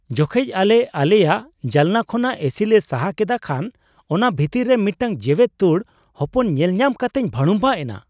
ᱡᱚᱠᱷᱮᱡ ᱟᱞᱮ ᱟᱞᱮᱭᱟᱜ ᱡᱟᱱᱞᱟ ᱠᱷᱚᱱᱟᱜ ᱮ/ᱥᱤ ᱞᱮ ᱥᱟᱦᱟ ᱠᱮᱫᱟ, ᱠᱷᱟᱱ ᱚᱱᱟ ᱵᱷᱤᱛᱟᱹᱨ ᱨᱮ ᱢᱤᱫᱴᱟᱝ ᱡᱮᱣᱮᱫ ᱛᱳᱲ ᱦᱚᱯᱚᱱ ᱧᱮᱞ ᱧᱟᱢ ᱠᱟᱛᱮᱧ ᱵᱷᱟᱲᱩᱝᱵᱷᱟᱜ ᱮᱱᱟ ᱾